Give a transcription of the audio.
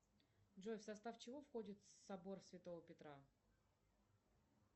джой в состав чего входит собор святого петра